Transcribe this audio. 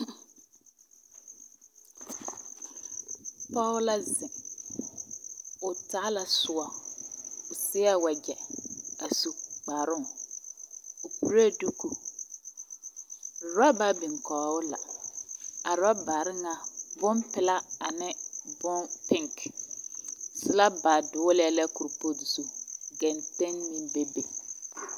pɔge la zeŋ, o taa la soɔ o seɛ wagyɛ a su kparoŋ o kuree duku oraba biŋ kɔge o la. A orabare ŋa bompelaa ane bom peŋke selaba dogelɛɛ kopɔɔte zu. Genteŋmeŋ bebe.